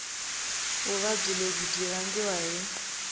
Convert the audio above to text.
vuvabyi lebyi byi vangiwa hi